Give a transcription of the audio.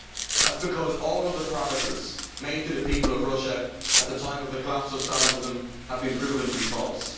That is because all of the promises made to the people of Russia at the time of the collapse of Stalinism have been proven to be false.